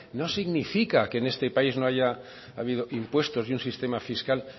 no significa que en este país no haya habido impuestos y un sistema fiscal